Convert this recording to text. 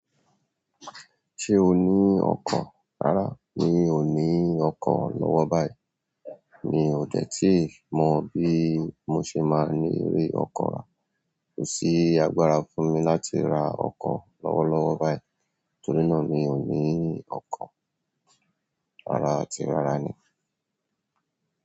Ṣé o ní ọkọ̀? Rárá mi ò ní ọkọ́ lọ́wọ́ báyìí. Mi ò dẹ̀ tíì mọ bí mo ṣe máa ní rí ọkọ̀ rá. Kò sí agbára fún mi láti ra ọkọ̀ lọ́wọ́lọ́wọ́ báyìí, torí náà mi ò ní ọkọ̀. Rárá àti rárá ni.